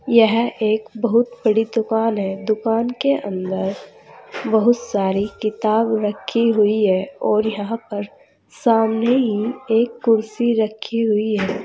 यह एक बहुत बड़ी दुकान है दुकान के अंदर बहुत सारी किताब रखी हुई है और यहां पर सामने ही एक कुर्सी रखी हुई है।